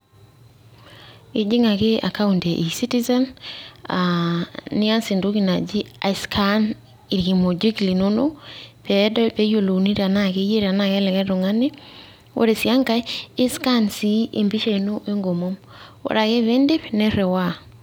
Ijing ake account ee ezitizen aaa nias entoki naji scan irkimojik linonok peeyiolouni tenaa keyie ashuu likae tung'ani ore sii enkae i scan sii empisha ino enkomom ore ake peindip niriwaa.